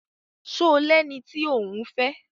Ṣo lẹni tí òún fẹ́?